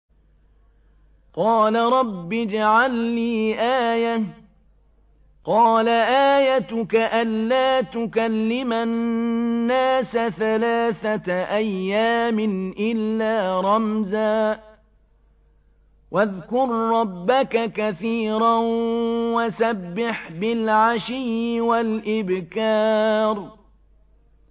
قَالَ رَبِّ اجْعَل لِّي آيَةً ۖ قَالَ آيَتُكَ أَلَّا تُكَلِّمَ النَّاسَ ثَلَاثَةَ أَيَّامٍ إِلَّا رَمْزًا ۗ وَاذْكُر رَّبَّكَ كَثِيرًا وَسَبِّحْ بِالْعَشِيِّ وَالْإِبْكَارِ